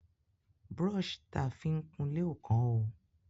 Brọ́ṣì ta fi ń kunlé ò kán o.